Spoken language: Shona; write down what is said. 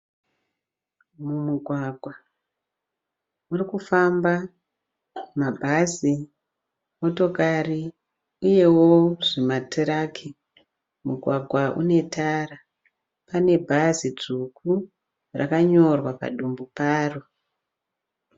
Mumugwagwa murikufamba mabhazi , motokari uyewo zvimatiraki. Mugwagwa unetara, pane bhazi dzvuku rakanyorwa padivi paro.